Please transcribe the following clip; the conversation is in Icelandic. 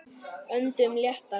Öndum léttar.